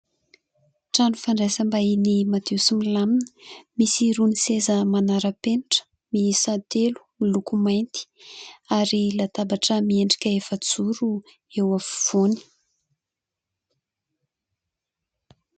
Trano fandraisam-bahiny madio sy milamina misy irony seza manara-penitra miisa telo miloko mainty ary latabatra miendrika efajoro eo afovoany.